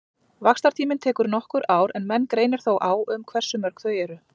Vaxtartíminn tekur nokkur ár en menn greinir þó á um hversu mörg þau eru.